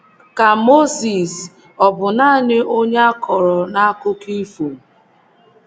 Ka Mozis ọ̀ bụ nanị onye a kọrọ n’akụkọ ifo?